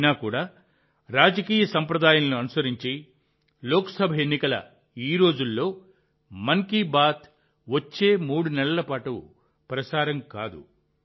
అయినప్పటికీ రాజకీయ సంప్రదాయాలను అనుసరించి లోక్సభ ఎన్నికల ఈ రోజుల్లో మన్ కీ బాత్ వచ్చే మూడు నెలల పాటు ప్రసారం కాదు